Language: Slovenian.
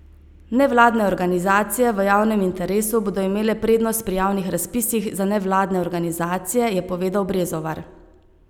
Nevladne organizacije v javnem interesu bodo imele prednost pri javnih razpisih za nevladne organizacije, je povedal Brezovar.